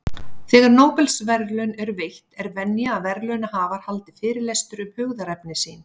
Þegar Nóbelsverðlaun eru veitt, er venja að verðlaunahafar haldi fyrirlestur um hugðarefni sín.